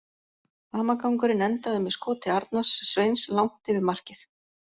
Hamagangurinn endaði með skoti Arnars Sveins langt yfir markið.